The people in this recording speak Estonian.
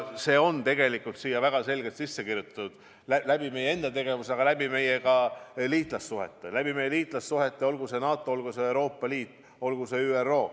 See on tegelikult siia väga selgelt sisse kirjutatud, pidades silmas meie enda tegevust, aga ka meie liitlassuhteid, olgu see NATO, olgu see Euroopa Liit, olgu see ÜRO.